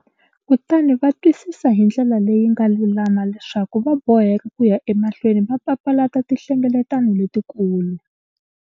Kutani va twisisa hi ndlela leyi nga lulama leswaku va boheka ku ya emahlweni va papalata tinhlengeletano letikulu.